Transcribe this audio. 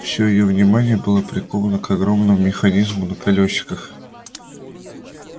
все её внимание было приковано к огромному механизму на колёсиках